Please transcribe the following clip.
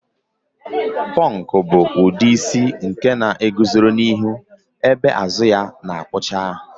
Pọnk bụ ụdị isi nke na-eguzoro n'ihu ebe azụ ya na-akwụcha